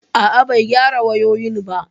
A'a, bai gyara wayoyin ba